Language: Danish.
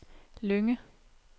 Lynge